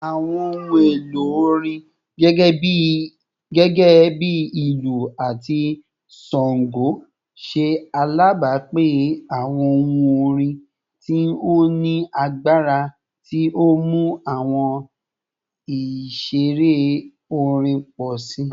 Awọn ohun elo orin, gẹgẹbi ilu ati shango, ṣe alabapin awọn ohun orin ti o ni agbara ti o mu awọn iṣere orin pọ si